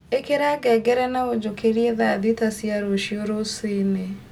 ĩkira ngengere na ũnjukirie thaa thita cia rũcio rũciinĩ